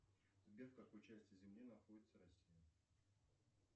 сбер в какой части земли находится россия